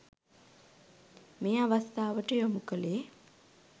මේ අවස්ථාවට යොමු කළේ.